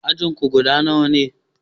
Ajin ku guda nawa ne?